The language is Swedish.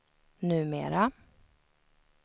numera